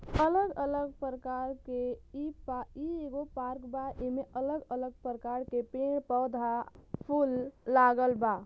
अलग अलग प्रकार के ई पा इ एगो पार्क बा। एमे अलग अलग प्रकार के पेड़ पौधा फूल लागल बा।